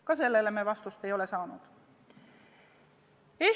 Ka sellele me vastust ei ole saanud.